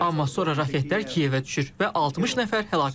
Amma sonra raketlər Kiyevə düşür və 60 nəfər həlak olur.